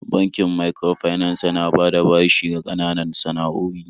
Bankin microfinance yana bada bashi ga ƙananan san'a'oi.